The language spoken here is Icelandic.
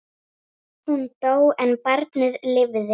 Hún dó en barnið lifði.